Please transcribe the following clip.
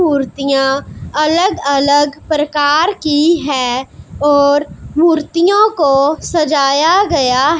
मूर्तियां अलग-अलग प्रकार की है और मूर्तियों को सजाया गया--